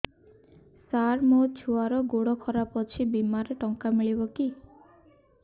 ସାର ମୋର ଛୁଆର ଗୋଡ ଖରାପ ଅଛି ବିମାରେ ଟଙ୍କା ମିଳିବ କି